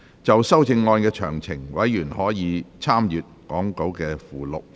就修正案詳情，委員可參閱講稿附錄。